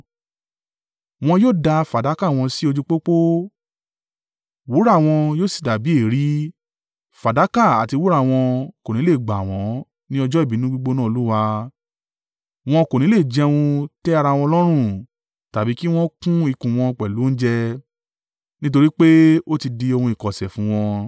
“ ‘Wọn yóò dà fàdákà wọn sí ojú pópó, wúrà wọn yóò sì dàbí èérí fàdákà àti wúrà wọn kò ní le gbà wọ́n ní ọjọ́ ìbínú gbígbóná Olúwa. Wọn kò ní le jẹun tẹ́ ra wọn lọ́rùn tàbí kí wọn kún ikùn wọn pẹ̀lú oúnjẹ nítorí pé ó ti di ohun ìkọ̀sẹ̀ fún wọn.